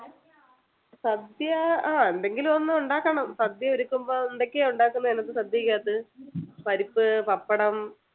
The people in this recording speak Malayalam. സദ്യ അഹ് എന്തെങ്കിലും ഒക്കെ ഉണ്ടാകണം സദ്യ ഒരുക്കുമ്പോൾ എന്തൊക്കെ ഉണ്ടാകുന്നത് അതിനകത്ത് സദ്യക്കകത്ത്? പരിപ്പ്, പപ്പടം,